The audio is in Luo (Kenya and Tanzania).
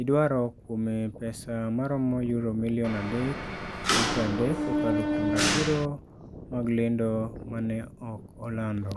idwaro kuome pesa maromo Euro milion 3.3 kokalo kuom ratiro mag lendo ma ne ok olando.